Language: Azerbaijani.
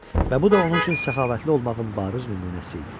Və bu da onun üçün səxavətli olmağın bariz nümunəsi idi.